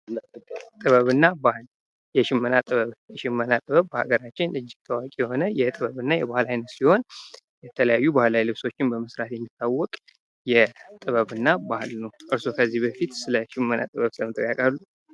ጥበብ እና ባህል፦ የሽመና ጥበብ፦ የሽመና ጥበብ በሀገራችን እጅግ ታዋቂ የሆነ የጥበብ እና የባህል አይነት ሲሆን የተለያዩ ባህላዊ ልብሶችን በመስራት የጥበብ እና ባህል ነው። እርስዎስ ከዚህ በፊት ስለሽመና ጥበብ ሰምተው ያቃሉ?